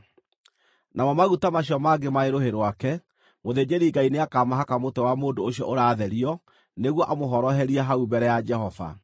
Namo maguta macio mangĩ marĩ rũhĩ rwake, mũthĩnjĩri-Ngai nĩakamahaka mũtwe wa mũndũ ũcio ũratherio nĩguo amũhoroherie hau mbere ya Jehova.